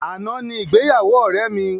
Àná ni ìgbéyàwó ọ̀rẹ́ mi.